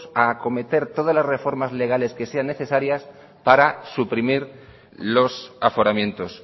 a acometer todas las reformas legales que sean necesarias para suprimir los aforamientos